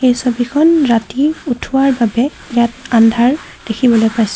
ছবিখন ৰাতি উঠোৱাৰ বাবে ইয়াত আন্ধাৰ দেখিবলৈ পাইছোঁ।